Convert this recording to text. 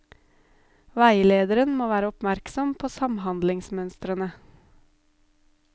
Veilederen må være oppmerksom på samhandlingsmønstrene.